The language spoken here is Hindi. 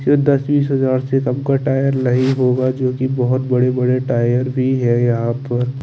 सिर्फ दस बीस से हमको टायर जोकि बोहोत बड़े बड़े टायर भी है यहाँ पर --